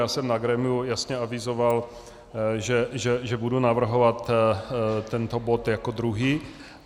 Já jsem na grémiu jasně avizoval, že budu navrhovat tento bod jako druhý.